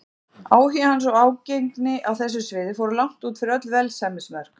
Áhugi hans og ágengni á þessu sviði fóru langt út yfir öll velsæmismörk.